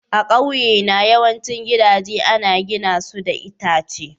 A ƙauyena yawancin gidaje ana gina su da itace.